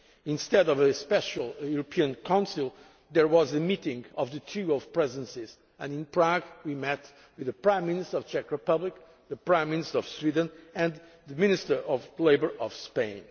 idea. Instead of a special European Council, there was a meeting of the trio of Presidencies and in Prague we met with the Prime Minister of the Czech Republic, the Prime Minister of Sweden and the Minister of Labour of